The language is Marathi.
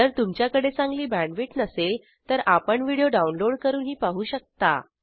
जर तुमच्याकडे चांगली बॅण्डविड्थ नसेल तर आपण व्हिडिओ डाउनलोड करूनही पाहू शकता